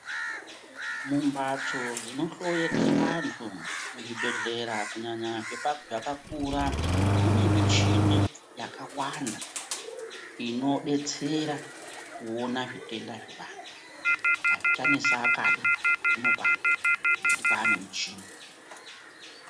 Mumbatso dzinohloyerwe vantu muzvibhehlera kunyanya zvakakura mune muchini yakawanda inodetsera kuona zvitenda zvevantu. Azvichanesi akadi zvinopano ngekuti kwane muchini.